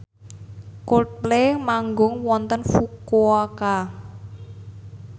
Coldplay manggung wonten Fukuoka